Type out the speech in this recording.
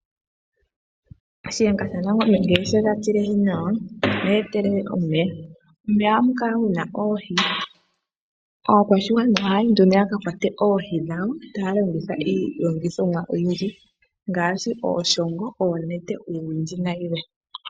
Shiyenga sha nangombe ngele she ga tilehi nawa oha etelele omeya. Momeya ohamu kala muna Oohi, aakwashigwana ohaya yi nduno ya ka kwate oohi dhawo taya longitha iilongithomwa oyindji ngaashi ooshoongo, oonete, uuwindji na yilwe.